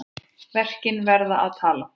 Verkin verða að tala.